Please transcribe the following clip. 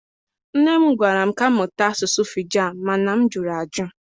Nne m gwara m ka m mụta asụsụ Fijan, ma na m jụrụ ajụ.